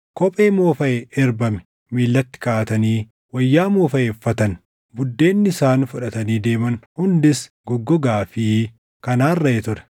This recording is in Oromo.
Kophee moofaʼee erbame miillatti kaaʼatanii wayyaa moofaʼe uffatan. Buddeenni isaan fudhatanii deeman hundis goggogaa fi kan arraaʼee ture.